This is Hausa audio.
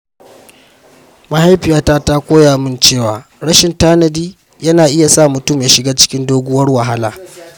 Mahaifiyata ta koya min cewa rashin tanadi yana iya sa mutum ya shiga cikin doguwar wahala.